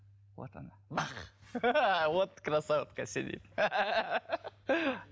вот она вот красотка сидит